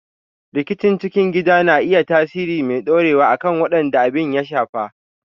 Rikici cikin gidaje na iya tasiri mai ɗorewa akan waɗanda abin ya shafa.